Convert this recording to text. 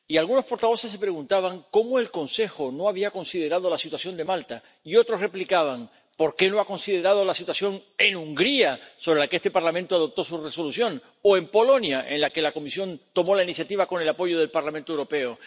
Y algunos portavoces se preguntaban cómo el Consejo no había considerado la situación de Malta y otros replicaban ¿por qué no ha considerado la situación en Hungría, sobre la que este Parlamento adoptó su Resolución, o en Polonia, en la que la Comisión tomó la iniciativa con el apoyo del Parlamento Europeo?